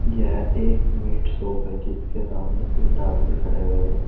यह एक meat shop है जिसके सामने तीन आदमी खड़े हुए हैं।